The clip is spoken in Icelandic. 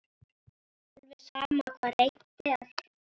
Alveg sama hvað reynt er.